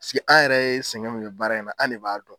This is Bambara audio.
Pisiki an yɛrɛ ye sɛgɛn min kɛ baara in na ,an ne b'a dɔn.